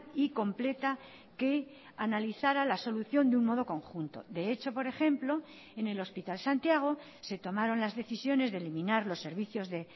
y completa que analizara la solución de un modo conjunto de hecho por ejemplo en el hospital santiago se tomaron las decisiones de eliminar los servicios de